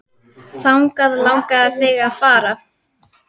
Þangað langaði þig að fara.